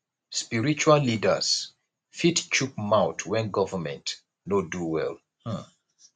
spiritual leaders fit chook mouth when governemnt no do well um